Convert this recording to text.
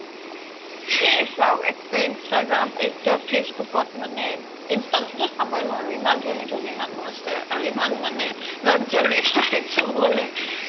এই চাওক একতো instagram facebook ত মানে ইনষ্টা ত তো চাবেই নোৱাৰো ইমান ধনী ধনী মানুহ আছে আৰু ইমান মানে luxury life চ্বৰে